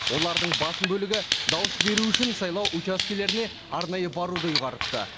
олардың басым бөлігі дауыс беру үшін сайлау учаскелеріне арнайы баруды ұйғарыпты